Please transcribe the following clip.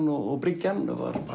og bryggjan var